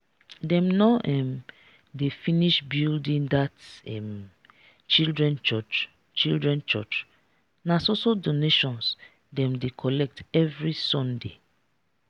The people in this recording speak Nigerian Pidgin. dem no um dey finish building that um children church? children church? um na so so donations dem dey collect every sunday